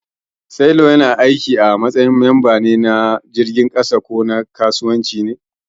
Sailor yana aiki a matsayin mamba din jirgin soji ko na kasuwanci ne.